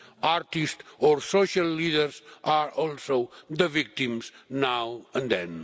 Artists or social leaders are also the victims, now and then.